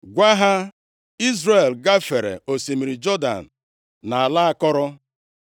Gwa ha, ‘Izrel gafere osimiri Jọdan nʼala akọrọ.’